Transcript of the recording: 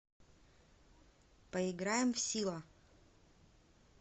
поиграем в сила